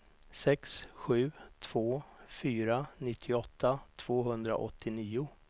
sex sju två fyra nittioåtta tvåhundraåttionio